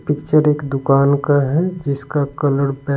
picture एक दुकान का है जिसका कलर --